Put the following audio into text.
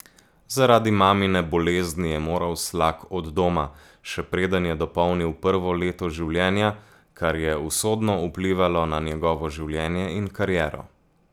Zaradi mamine bolezni je moral Slak od doma, še preden je dopolnil prvo leto življenja, kar je usodno vplivalo na njegovo življenje in kariero.